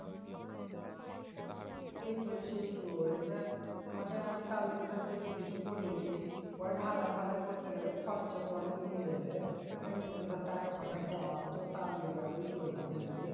সেইটোই সেইটোই এবার মানে আমি তালে কি ধর বেশি কিছু করিও নি যে পরে ঢালাই ফালায় করতে গেলে খরচা তো অনেক হোন যাবে আর এমনিতে ধর টাকা ফাঁকা কম তো তার লিগে আরও ই করলাম বুঝলি?